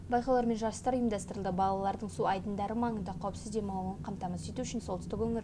байқаулар мен жарыстар ұйымдастырылды балалардың су айдындары маңында қауіпсіз демалуын қамтамасыз ету үшін солтүстік өңірлік